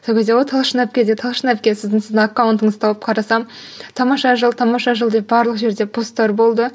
сол кезде ғой талшын әпкеде талшын әпке сіздің аккаунтыңызды тауып қарасам тамаша жыл тамаша жыл деп барлық жерде постар болды